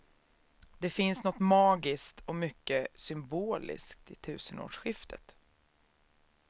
Det finns något magiskt och mycket symboliskt i tusenårsskiftet.